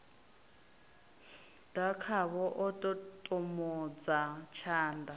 ḓa khavho a ṱoṱomodza tshanḓa